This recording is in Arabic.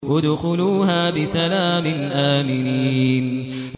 ادْخُلُوهَا بِسَلَامٍ آمِنِينَ